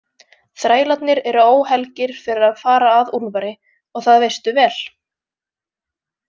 Þrælarnir eru óhelgir fyrir að fara að Úlfari og það veistu vel.